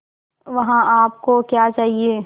वहाँ आप को क्या चाहिए